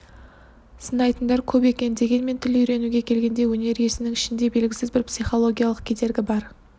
сынайтындар көп екен дегенмен тіл үйренуге келгенде өнер иесінің ішінде белгісіз бір психологиялық кедергі бар